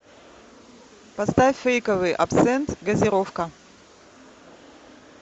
поставь фейковый абсент газировка